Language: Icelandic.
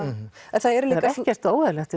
en það eru líka ekkert óeðlilegt